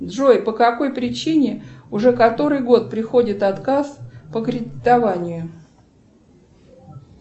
джой по какой причине уже который год приходит отказ по кредитованию